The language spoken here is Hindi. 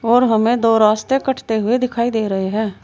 और हमें दो रास्ते कटते हुए दिखाई दे रहे हैं।